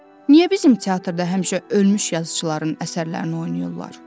Niyə bizim teatrda həmişə ölmüş yazıçıların əsərlərini oynayırlar?